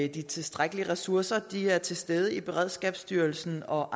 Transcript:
at de tilstrækkelige ressourcer er til stede i beredskabsstyrelsen og